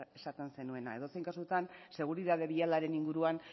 esaten zenuena edozein kasutan seguritate bialaren inguruan